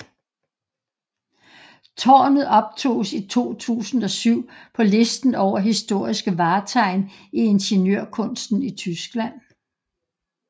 Tårnet optoges i 2007 på listen over Historiske vartegn i ingeniørkunsten i Tyskland